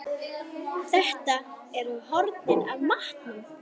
Þetta eru hornin af matnum!